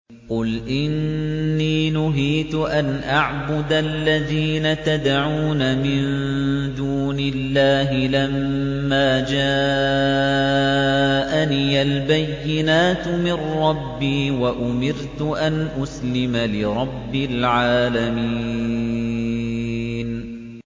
۞ قُلْ إِنِّي نُهِيتُ أَنْ أَعْبُدَ الَّذِينَ تَدْعُونَ مِن دُونِ اللَّهِ لَمَّا جَاءَنِيَ الْبَيِّنَاتُ مِن رَّبِّي وَأُمِرْتُ أَنْ أُسْلِمَ لِرَبِّ الْعَالَمِينَ